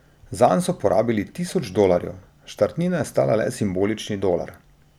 Zanj so porabili tisoč dolarjev, štartnina je stala le simbolični dolar.